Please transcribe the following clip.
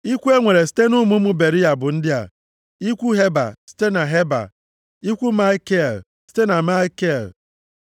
Ikwu e nwere site nʼụmụ ụmụ Beriya bụ ndị a: ikwu Heba, site na Heba, ikwu Malkiel, site na Malkiel.